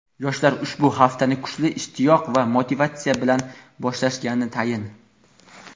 Yoshlar ushbu haftani kuchli ishtiyoq va motivatsiya bilan boshlashgani tayin.